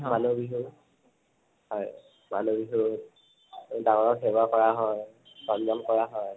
মানুহ বিহু। হয়। মানুহ বিহুত ডাঙৰ ক সেৱা কৰা হয়, সন্মান কৰা হয়